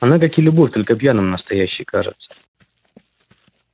она как и любовь только пьяным настоящей кажется